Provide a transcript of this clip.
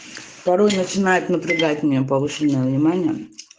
второй начинает напрягать меня повышенное внимание